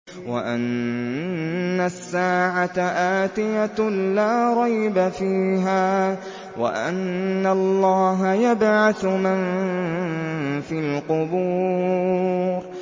وَأَنَّ السَّاعَةَ آتِيَةٌ لَّا رَيْبَ فِيهَا وَأَنَّ اللَّهَ يَبْعَثُ مَن فِي الْقُبُورِ